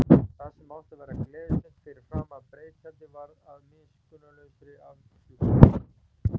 Það sem átti að verða gleðistund fyrir framan breiðtjaldið varð að miskunnarlausri afhjúpun.